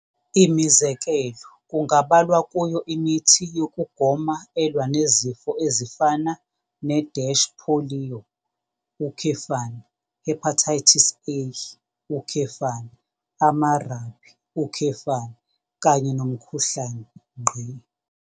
Imizekelo kungabalwa kuyo imithi yokugoma elwa nezifo ezifana ne-polio, hepatitis A, amarabi, kanye nomkhuhlane.